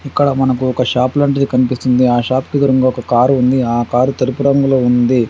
ఇక్కడ మనకు ఒక షాప్ లాంటిది కనిపిస్తుంది. ఆ షాపుకి ఎదురుంగ ఒక కారు ఉంది. ఆ కారు తెలుపు రంగులో ఉంది.